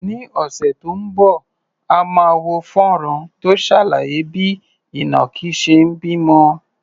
Ní ọ̀sẹ̀ tó ń bọ̀, a máa wo fọ́nrán tó ṣàlàyé bí ìnàkí ṣe ń bímọ.